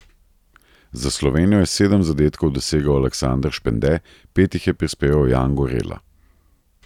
Za Slovenijo je sedem zadetkov dosegel Aleksander Špende, pet jih je prispeval Jan Gorela.